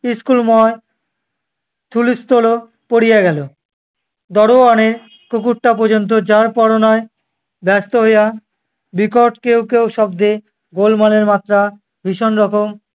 school ময় হুলস্থূল পড়িয়া গেলো দারোয়ানের কুকুরটা পর্যন্ত যর-পর নয় ব্যস্ত হইয়া বিকট কেউ কেউ শব্দে গোলমালের মাত্রা ভীষণ রকম